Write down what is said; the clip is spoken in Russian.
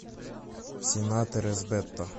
в сенаторы с бето